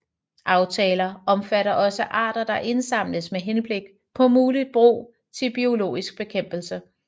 Aftaler omfatter også arter der indsamles med henblik på muligt brug til biologisk bekæmpelse